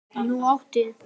Nú átti